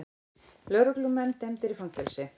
Lögreglumenn dæmdir í fangelsi